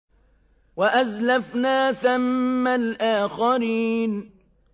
وَأَزْلَفْنَا ثَمَّ الْآخَرِينَ